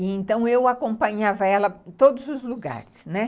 E então eu acompanhava ela em todos os lugares, né?